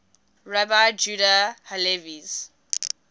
rabbi judah halevi's